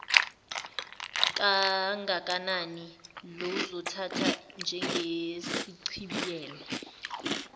kangakanani luzothathwa njengesichibiyelo